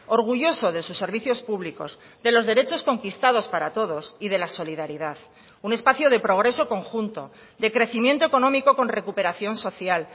orgulloso de sus servicios públicos de los derechos conquistados para todos y de la solidaridad un espacio de progreso conjunto de crecimiento económico con recuperación social